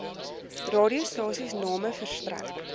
radiostasies name verstrek